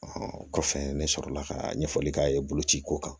kɔfɛ ne sɔrɔla ka ɲɛfɔli k'a ye bolo ci ko kan